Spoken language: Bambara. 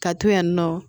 Ka to yen nɔ